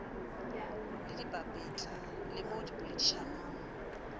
le dipapetla le mo dipoledišanong